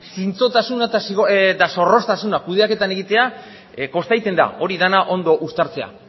zintzotasuna eta zorroztasuna kudeaketan egitea kosta egiten da hori dena ondo uztartzea